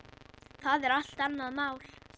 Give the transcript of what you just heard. Það er allt annað mál.